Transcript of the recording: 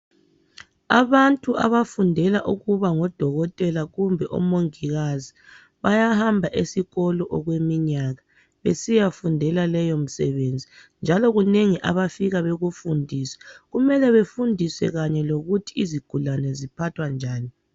Abantu abafundela ukuba ngodokotela kumbe omongikazi bayahamba esikolo okweminyaka besiyafundela leyo misebenzi njalo kunengi abafika bekufundiswe .Kumele befundiswe kanye lokuthi izigulane ziphathwa njani.